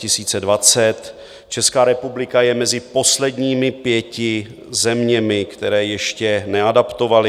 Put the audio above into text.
Česká republika je mezi posledními pěti zeměmi, které ještě neadaptovaly.